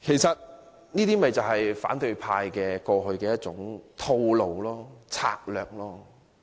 這正是反對派過去的一種套路或策略。